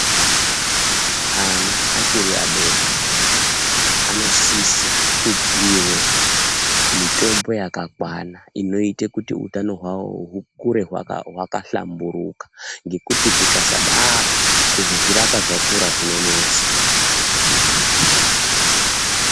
Ana achiri adodori anosise kupiwe mitombo yakakwana inoite kuti utano hwawo hukure hwakahamburika ngekuti zvikasadaro kuzozvirapa zvakura zvinonesa.